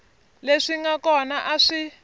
leswi nga kona a swi